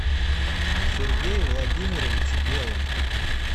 сергее владимировиче белом